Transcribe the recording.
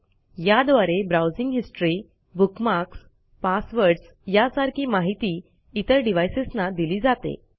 याद्वारे browsing history bookmarks passwords यासारखी माहिती इतर डिवाइसेस ना दिली जाते